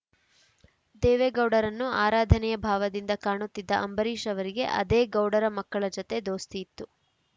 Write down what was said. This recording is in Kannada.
ದೇವೇಗೌಡರನ್ನು ಆರಾಧನೆಯ ಭಾವದಿಂದ ಕಾಣುತ್ತಿದ್ದ ಅಂಬರೀಷ್‌ ಅವರಿಗೆ ಅದೇ ಗೌಡರ ಮಕ್ಕಳ ಜತೆ ದೋಸ್ತಿ ಇತ್ತು